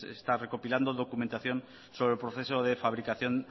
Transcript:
está recopilando documentación sobre el proceso de fabricación